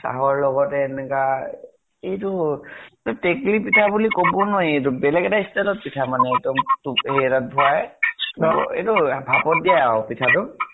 চাহৰ লগতে এনেকা, এইটো তেকেলি পিঠা বুলি কʼব নোৱাৰি এইটো বেলেগ এটা style ত পিঠা মানে একদম তু হেৰি এটা ত ভৰাই । এইটো ভাপত দিয়া আৰু পিঠা তো